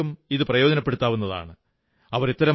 മാധ്യമങ്ങൾക്കും ഇതു പ്രയോജനപ്പെടുത്താവുന്നതാണ്